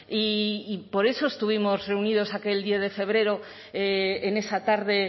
y por eso estuvimos reunidos aquel diez de febrero en esa tarde